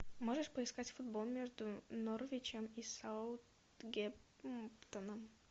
можешь поискать футбол между норвичем и саутгемптоном